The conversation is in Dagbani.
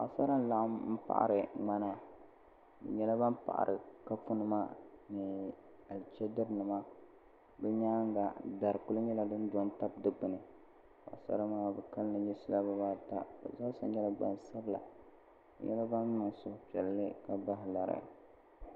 Paɣasara n laɣim m paɣari ŋmana bɛ nyɛla ban paɣari kopu nima ni alichidiri nimma bɛ nyaanga dari kuli nye din do n tabili dikpini Paɣasara maa bɛ kalli nyɛla nirina ata bɛ zaasa nyɛla gbansabla bɛ nyɛla ban niŋ suhu piɛlli ka bahi lari.